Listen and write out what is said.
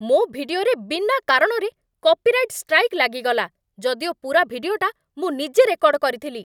ମୋ' ଭିଡିଓରେ ବିନା କାରଣରେ କପିରାଇଟ୍ ଷ୍ଟ୍ରାଇକ୍ ଲାଗିଗଲା । ଯଦିଓ ପୁରା ଭିଡିଓଟା ମୁଁ ନିଜେ ରେକର୍ଡ଼ କରିଥିଲି ।